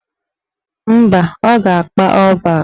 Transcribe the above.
Mba, ọ ga-akpa ọ́ọ̀ bak